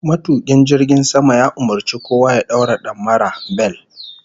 Matukin jirgin sama ya umurci kowa ya daura damara (bel)